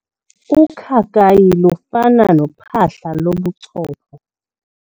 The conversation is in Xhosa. Ukhakayi lufana nophahla lobuchopho.